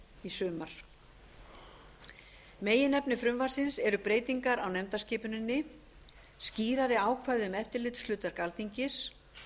í sumar meginefni frumvarpsins er breytingar á nefndaskipuninni skýrari ákvæði um eftirlitshlutverk alþingis